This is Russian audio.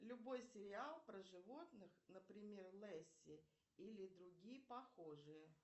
любой сериал про животных например лесси или другие похожие